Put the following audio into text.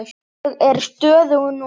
Ég er stöðug núna.